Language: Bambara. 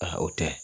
Ahan o tɛ